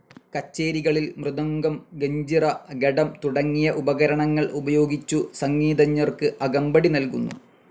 കച്ചേരികളിൽ മൃദംഗം, ഗഞ്ചിറ, ഘടം തുടങ്ങിയ ഉപകരണങ്ങൾ ഉപയോഗിച്ചു സംഗീതജ്ഞർക്ക് അകമ്പടി നൽകുന്നു.